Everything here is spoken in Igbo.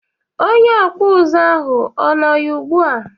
Onye okpu uzu ahu o nọ ya ugbu a?